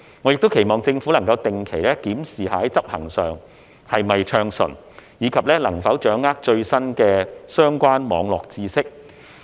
我亦期望政府能定期檢視在執行上是否順暢，以及能否掌握最新的相關網絡知識。